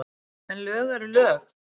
En lög eru lög.